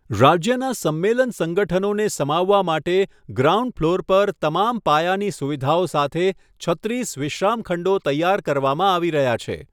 રાજ્યનાં સંમેલન સંગઠનોને સમાવવા માટે ગ્રાઉન્ડ ફ્લોર પર તમામ પાયાની સુવિધાઓ સાથે છત્રીસ વિશ્રામખંડો તૈયાર કરવામાં આવી રહ્યા છે.